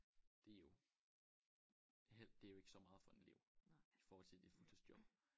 Det jo hel det er jo ikke så meget for en elev i forhold til det et fuldtidsjob